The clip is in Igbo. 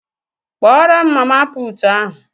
Kpọọrọ m mama puutu ahụ!